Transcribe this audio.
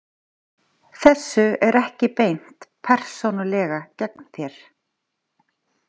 Þessu er ekki beint persónulega gegn þér.